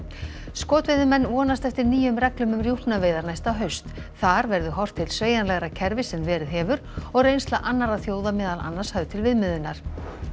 skotveiðimenn vonast eftir nýjum reglum um rjúpnaveiðar næsta haust þar verði horft til sveigjanlegra kerfis en verið hefur og reynsla annarra þjóða meðal annars höfð til viðmiðunar